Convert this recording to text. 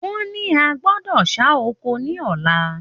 Wọ́n ní a gbọ́dọ̀ ṣá oko ní ọ̀la.